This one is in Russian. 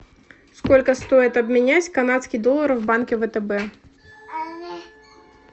сколько стоит обменять канадский доллар в банке втб